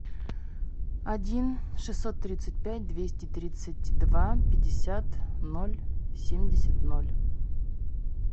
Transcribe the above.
один шестьсот тридцать пять двести тридцать два пятьдесят ноль семьдесят ноль